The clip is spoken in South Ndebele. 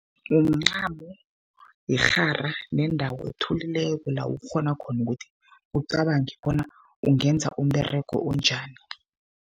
Mncamo, yirhara nendawo ethulileko, la ukghona khona ukuthi ucabange bona ungenza umberego onjani.